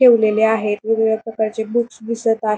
ठेवलेले आहेत वेगवेगळ्या प्रकारचे बुक्स दिसत आहे.